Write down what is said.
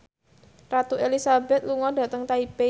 Ratu Elizabeth lunga dhateng Taipei